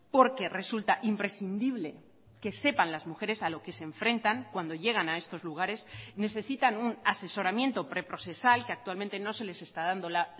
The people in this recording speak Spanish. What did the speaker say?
porque resulta imprescindible que sepan las mujeres a lo que se enfrentan cuando llegan a estos lugares necesitan un asesoramiento pre procesal que actualmente no se les está dando la